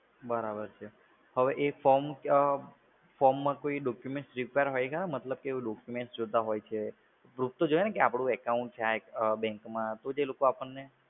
બરાબર છે. હવે એ form માં કોઈ documents હશે? કેમ કે documents જોતાં હોય છે. proof તો જોઈએ ને કે આ bank માં account છે. તો જે લોકો આપણને